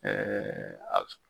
a